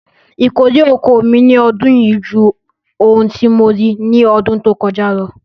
Ìkórè oko mi ni ọdún yíí jù ohun tí mo rí ni ọdún tó kọ́jà ló.